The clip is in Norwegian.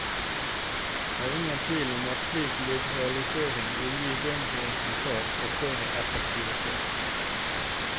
Det er ingen tvil om at slik liberalisering vil gi bedre resultat og større effektivitet.